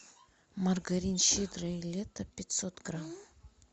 маргарин щедрое лето пятьсот грамм